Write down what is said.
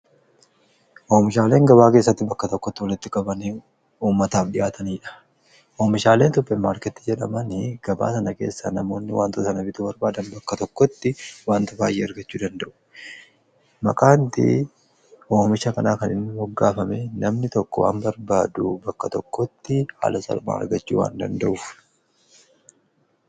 Oomishaaleen gabaa keessatti bakka tokkotti wallitti qabamee uummataaf dhi'aataniidha. Oomishaaleen tokko maarketti jedhaman gabaa sana keessa namoonni wantoo sana bituu barbaadan bakka tokkotti wantoota baay'ee argachuu danda'u. Makaanti hoomisha kanaa kanin moggaafame namni tokko waan barbaadu bakka tokkotti haala salphaan argachuu waan danda'uufi.